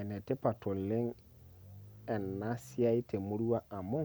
Enetipat oleng' enasiai temurua amu,